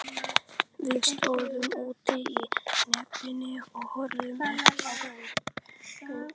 Við stóðum úti í nepjunni og horfðum upp á götuna.